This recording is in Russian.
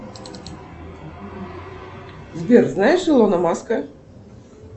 сбер знаешь илона маска